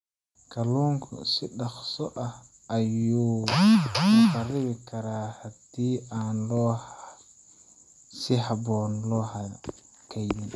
Kalluunka si dhakhso ah ayuu u kharribi karaa haddii aan si habboon loo kaydin.